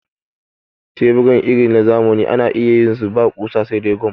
tebura irin na zamani ana iya yin su ba ƙusa sai dai gam